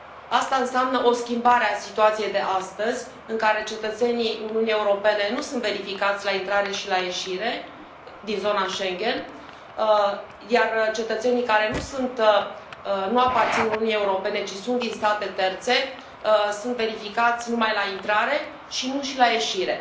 Asta înseamnă o schimbare a situației de astăzi, în care cetățenii Uniunii Europene nu sunt verificați la intrarea și la ieșirea din zona Schengen, iar cetățenii care nu aparțin Uniunii Europene, ci sunt din state terțe, sunt verificați numai la intrare, și nu și la ieșire.